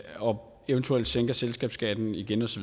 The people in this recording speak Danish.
og eventuelt sænker selskabsskatten igen osv